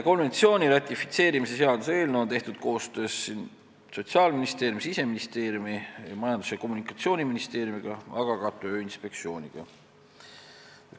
Konventsiooni ratifitseerimise seaduse eelnõu on tehtud koostöös Sotsiaalministeeriumi, Siseministeeriumi, Majandus- ja Kommunikatsiooniministeeriumiga, aga ka Tööinspektsiooniga.